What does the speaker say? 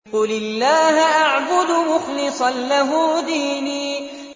قُلِ اللَّهَ أَعْبُدُ مُخْلِصًا لَّهُ دِينِي